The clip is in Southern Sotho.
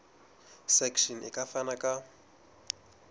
section e ka fana ka